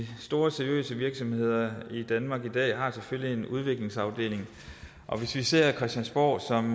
store seriøse virksomheder i danmark i dag selvfølgelig har en udviklingsafdeling og hvis vi ser christiansborg som